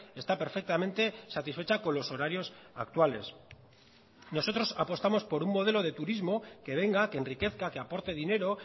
está perfectamente satisfecha con los horarios actuales nosotros apostamos por un modelo de turismo que venga que enriquezca que aporte dinero